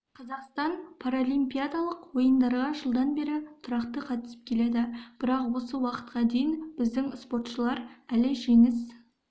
қазақстан паралимпиадылық ойындарға жылдан бері тұрақты қатысып келеді бірақ осы уақытқа дейін біздің спортшылар әлі жеңіс